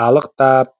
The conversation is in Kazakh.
қалықтап